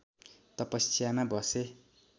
तपस्यामा बसे